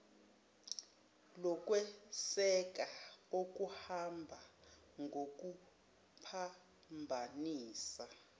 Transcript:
lokweseka okuhamba ngokuphambanisa